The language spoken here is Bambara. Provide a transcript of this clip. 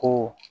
Ko